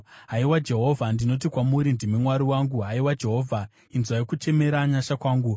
Haiwa Jehovha, ndinoti kwamuri, “Ndimi Mwari wangu.” Haiwa Jehovha, inzwai kuchemera nyasha kwangu.